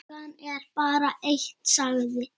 Klukkan er bara eitt, sagði